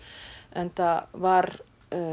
enda var